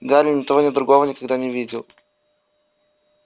гарри ни того ни другого никогда не видел